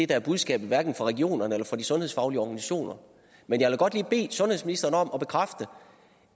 der er budskabet hverken fra regionerne eller fra de sundhedsfaglige organisationer men jeg vil godt lige bede sundhedsministeren om at bekræfte